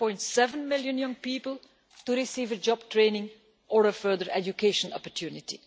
1.7 million young people to receive job training or a further education opportunity.